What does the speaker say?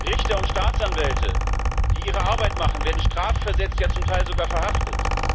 Richter und Staatsanwälte, die ihre Arbeit machen, werden strafversetzt, ja zum Teil sogar verhaftet.